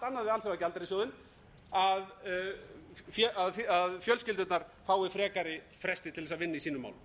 eitthvað allt annað við alþjóðagjaldeyrissjóðinn að fjölskyldurnar fái frekari fresti til þess að vinna í sínum málum